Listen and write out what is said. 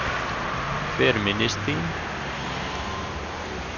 Hver minnist þín?